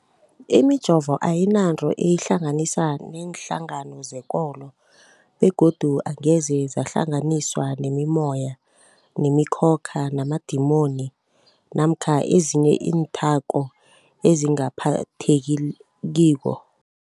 Imijovo ayinanto eyihlanganisa neenhlangano zekolo begodu angeze yahlanganiswa nemimoya, nemi khokha, namadimoni namkha ezinye iinthako ezingaphathekiko.